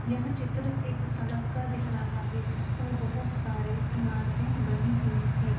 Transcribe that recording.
यह चित्र एक सड़क का दिख रहा है जिस पर बहोत सारे बनी इमारतें बनी हुई हैं ।